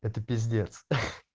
это пиздец ха-ах